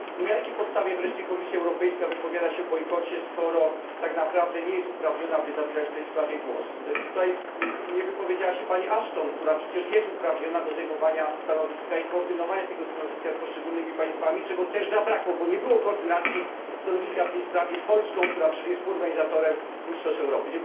I na jakiej podstawie wreszcie Komisja Europejska wypowiada się o bojkocie, skoro tak naprawdę nie jest uprawniona, by zabierać w tej sprawie głos? Tutaj nie wypowiedziała się pani Ashton, która przecież jest uprawniona do zajmowania stanowiska i koordynowania tego stanowiska z poszczególnymi państwami, czego też zabrakło, bo nie było koordynacji stanowiska w tej sprawie z Polską, które przecież jest współorganizatorem mistrzostw Europy.